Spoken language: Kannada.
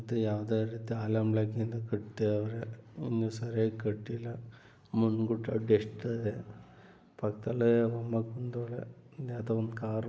ಯಾವುದು ಅಲ್ಲಿಂದಕಟ್ಟೆ ಅವರ ಒಂದು ಸರಿ ಕಡ್ಡಿನ ಮುಂದುಗಡೆಷ್ಟ. ಪಕ್ಕದಲ್ಲಿ ಮತ್ತೊಂದು ನೂತನ ಕಾರು.